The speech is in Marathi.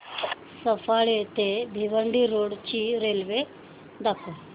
सफाळे ते भिवंडी रोड ची रेल्वे दाखव